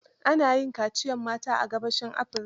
Ana yin kaciyar mata are gabashin Afirika.